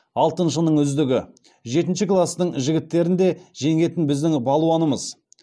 алтыншының үздігі жетінші кластың жігіттерін де жеңетін біздің балуанымыз